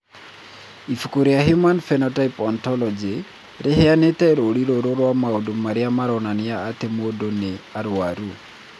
Ibuku rĩa Human Phenotype Ontology rĩheanĩte rũũri rũrũ rwa maũndũ marĩa maronania atĩ mũndũ nĩ arũaru.